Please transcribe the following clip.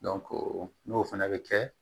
n'o fana bɛ kɛ